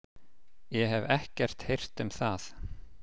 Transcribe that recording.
Ég hef ekkert heyrt um það.